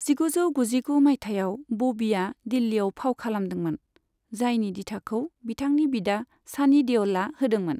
जिगुजौ गुजिगु मायथाइयाव बबिआ दिल्लिआव फाव खालामदोंमोन, जायनि दिथाखौ बिथांनि बिदा सानि देअ'लआ होदोंमोन।